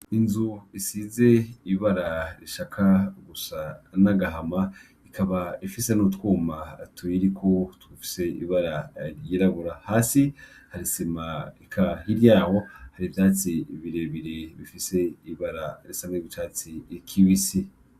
Inzu isize ibara rishaka gusa n’agahama, ikaba ifise n’utwuma tuyiriko dufise ibara ryirabura, hasi har’isima eka hirya yaho har’ivyatsi birebire bifise ibara risa n’icatsi kibisi.